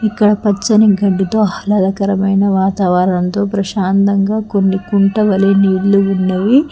ఇక్కడ పచ్చని గడ్డితో ఆహ్లాదకరమైన వాతావరణంతో ప్రశాంతంగా కొన్ని కుంట వలె నీళ్లు ఉన్నవి.